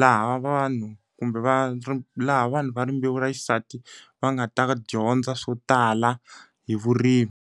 laha vanhu kumbe va laha vanhu va rimbewu ra xisati va nga ta dyondza swo tala hi vurimi.